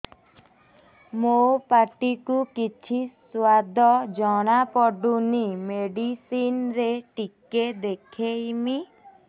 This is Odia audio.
ମୋ ପାଟି କୁ କିଛି ସୁଆଦ ଜଣାପଡ଼ୁନି ମେଡିସିନ ରେ ଟିକେ ଦେଖେଇମି